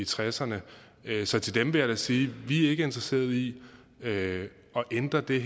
tresserne så til dem vil jeg da sige vi er ikke interesseret i at ændre det